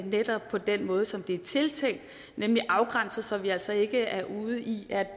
netop på den måde som den er tiltænkt nemlig at afgrænse så vi altså ikke er ude i at